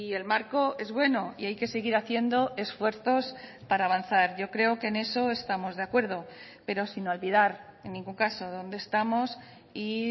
el marco es bueno y hay que seguir haciendo esfuerzos para avanzar yo creo que en eso estamos de acuerdo pero sin olvidar en ningún caso dónde estamos y